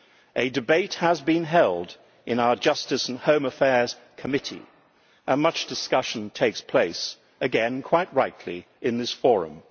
A debate has been held in our Justice and Home Affairs Committee, and much discussion takes place again quite rightly in this forum.